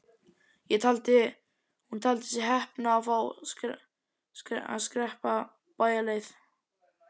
Hún taldi sig heppna að fá að skreppa bæjarleið.